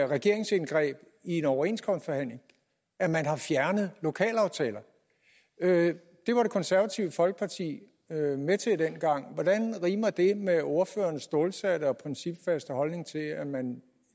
regeringsindgreb i en overenskomstforhandling at man har fjernet lokalaftaler det var det konservative folkeparti med med til dengang hvordan rimer det med ordføreren stålsatte og principfaste holdning til at man